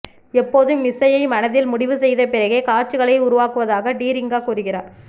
எப்போதும் இசையை மனதில் முடிவு செய்தபிறகே காட்சிகளை உருவாக்குவதாக டிரிங்கா கூறுகிறார்